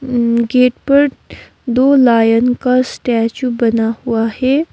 Gate पर दो lion का स्टैचू बना हुआ है।